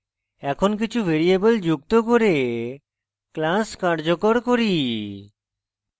এখন কিছু ভ্যারিয়েবল যুক্ত করে class কার্যকর করি